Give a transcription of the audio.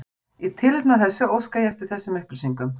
Í tilefni af þessu óska ég eftir þessum upplýsingum